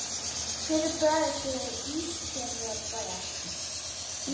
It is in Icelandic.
Hver er bæjarstjóri Ísafjarðarbæjar?